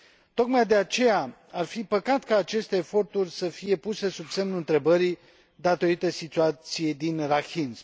Tocmai de aceea, ar fi păcat ca aceste eforturi să fie puse sub semnul întrebării datorită situației din Rakhine.